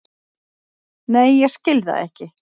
Nei ég skil það ekki.